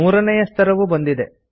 ಮೂರನೇಯ ಸ್ತರವು ಬಂದಿದೆ